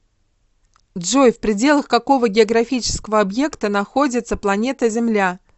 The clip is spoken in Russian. джой в пределах какого географического объекта находится планета земля